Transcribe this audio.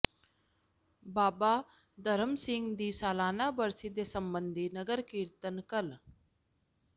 ਬਾਬਾ ਧਰਮ ਸਿੰਘ ਦੀ ਸਾਲਾਨਾ ਬਰਸੀ ਦੇ ਸਬੰਧੀ ਨਗਰ ਕੀਰਤਨ ਕੱਲ੍ਹ